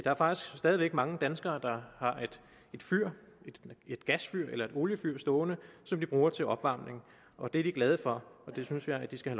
er faktisk stadig væk mange danskere der har et gasfyr eller oliefyr stående som de bruger til opvarmning og det er de glade for og det synes jeg de skal